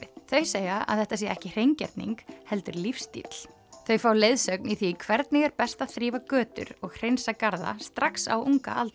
þau segja að þetta sé ekki hreingerning heldur lífsstíll þau fá leiðsögn í því hvernig er best að þrífa götur og hreinsa garða strax á